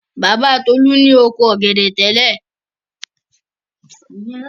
Bàbá Tolú ni oko ọ̀gẹ̀dẹ̀ tẹ́lẹ̀.